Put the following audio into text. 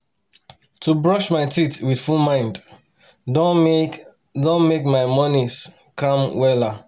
to brush my teeth with full mind don make don make my mornings calm wella